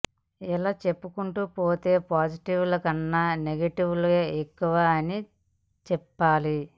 ఇలా చెప్పుకుంటూ పోతే పాజిటివ్ ల కన్నా నెగిటివ్ లే ఎక్కువ అని చెప్పాలి